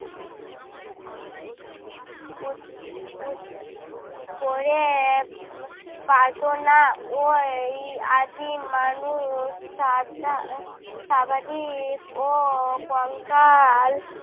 করে পারতো না। ওই আদিম মানুষ সাধা সাবাধীক ও কঙ্কাল